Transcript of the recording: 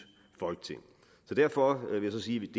folketing derfor vil jeg sige